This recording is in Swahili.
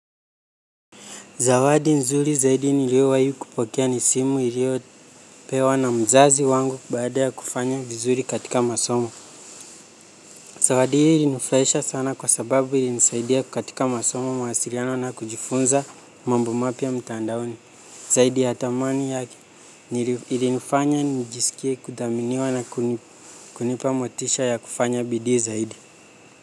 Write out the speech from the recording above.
Zawadi nzuri zaidi niliowahi kupokea ni simu niliopewa na mzazi wangu baada ya kufanya vizuri katika masomo. Zawadi ili inifuraheisha sana kwa sababu ilinisaidia katika masomo mawasiliano na kujifunza mambo mapya mtandaoni. Zaidi ya thamani yake ilinifanya nijiskie kuthaminiwa na kunipa motisha ya kufanya bidii zaidi.